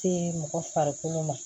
Se mɔgɔ farikolo ma